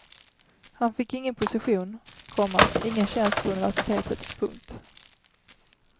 Han fick ingen position, komma ingen tjänst på universitetet. punkt